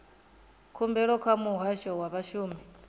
khumbelo kha muhasho wa vhashumi